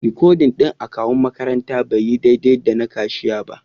Rikodin akawu'n makarantan bai yi daidai da na kashiya ba.